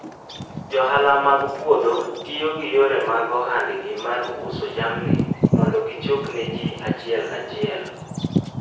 Johala mag puodho tiyo gi yore mag ohandgi mar uso jamni mondo gichop ne ji achiel kachiel.